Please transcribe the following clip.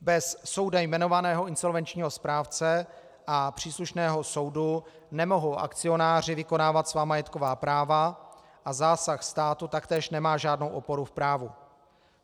Bez soudem jmenovaného insolvenčního správce a příslušného soudu nemohou akcionáři vykonávat svá majetková práva a zásah státu taktéž nemá žádnou oporu v právu.